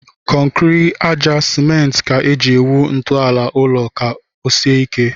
Kọnkịrị, àjà, simenti ka e ji awụ ntọala ụlọ ka ọ sie ike